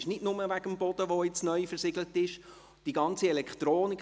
Dies nicht nur wegen des neu versiegelten Bodens, sondern auch wegen der ganzen Elektronik.